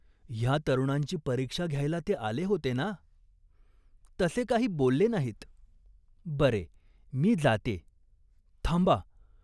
ह्या तरुणांची परीक्षा घ्यायला ते आले होते ना ?" "तसे काही बोलले नाहीत." "बरे, मी जात्ये." "थांबा.